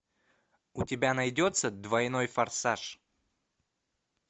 у тебя найдется двойной форсаж